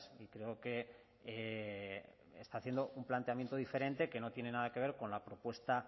y creo que está haciendo un planteamiento diferente que no tiene nada que ver con la propuesta